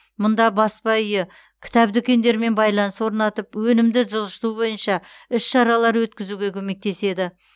мұнда баспа үйі кітап дүкендерімен байланыс орнатып өнімді жылжыту бойынша іс шаралар өткізуге көмектеседі